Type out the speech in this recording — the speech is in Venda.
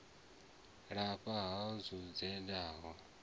lafha ha u edzisa na